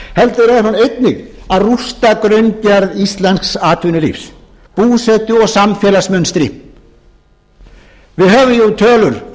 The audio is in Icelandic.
heldur er hún einnig að rústa grunngerð íslensks atvinnulífs búsetu og samfélagsmunstri við höfum jú tölur